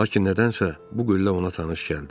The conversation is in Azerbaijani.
Lakin nədənsə bu qüllə ona tanış gəldi.